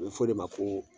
A bɛ fɔ o de ma ko